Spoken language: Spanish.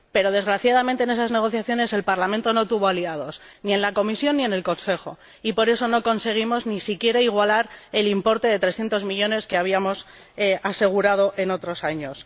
Pero, desgraciadamente, en esas negociaciones el Parlamento no tuvo aliados, ni en la Comisión ni en el Consejo, y por eso no conseguimos ni siquiera igualar el importe de 300 millones que habíamos asegurado otros años.